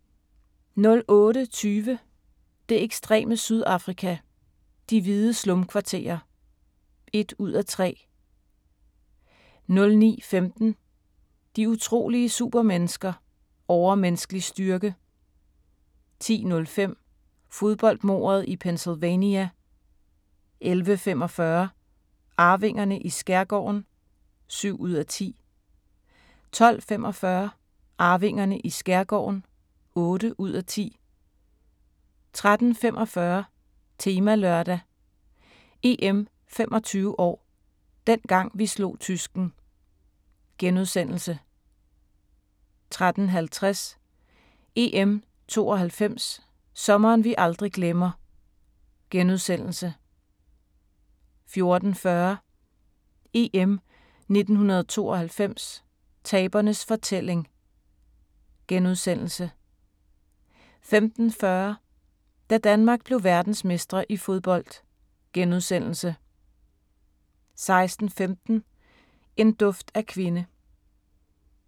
08:20: Det ekstreme Sydafrika: De hvide slumkvarterer (1:3) 09:15: De utrolige supermennesker - Overmenneskelig styrke 10:05: Fodboldmordet i Pennsylvania 11:45: Arvingerne i skærgården (7:10) 12:45: Arvingerne i skærgården (8:10) 13:45: Temalørdag: EM 25 år – dengang vi slog tysken * 13:50: EM '92 – Sommeren vi aldrig glemmer * 14:40: EM 1992 – Tabernes fortælling * 15:40: Da Danmark blev verdensmestre i fodbold * 16:15: En duft af kvinde